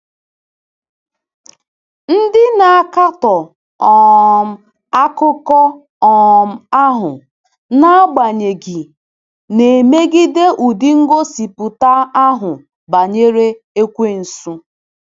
Ndị na-akatọ um akụkọ um ahụ, n’agbanyeghị, na-emegide ụdị ngosipụta ahụ banyere Ekwensu.